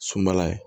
Sunbala ye